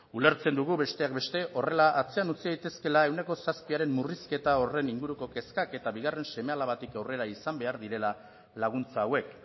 ulertzen dugu besteak beste horrela atzean utzi daitezkeela ehuneko zazpiren murrizketa horren inguruko kezkak eta bigarren seme alabatik aurrera izan behar direla laguntza hauek